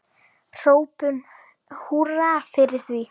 Hrópum húrra fyrir því.